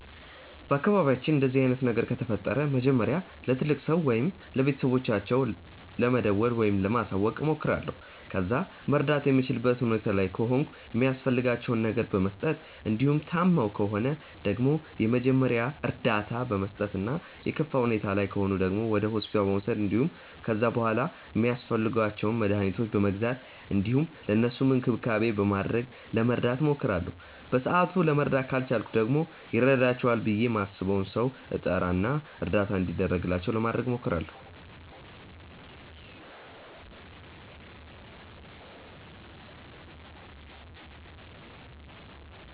በአካባቢያችን እንደዚህ አይነት ነገር ከተፈጠረ መጀመሪያ ለትልቅ ሰው ወይም ለቤተሰቦቻቸው ለመደወል ወይም ለማሳወቅ እሞክራለሁ። ከዛ መርዳት የምችልበት ሁኔታ ላይ ከሆንኩ የሚያስፈልጋቸውን ነገር በመስጠት እንዲሁም ታመው ከሆነ ደግሞ የመጀመሪያ እርዳታ በመስጠት እና የከፋ ሁኔታ ላይ ከሆኑ ደግሞ ወደ ሆስፒታል በመውሰድ እንዲሁም ከዛ በሗላ ሚያስፈልጓቸውን መድኃኒቶች በመግዛት እንዲሁም ለእነሱም እንክብካቤ በማድረግ ለመርዳት እሞክራለሁ። በሰአቱ ለመርዳት ካልቻልኩ ደግሞ ይረዳቸዋል ብዬ ማስበውን ሰው እጠራ እና እርዳታ እንዲደረግላቸው ለማድረግ እሞክራለሁ።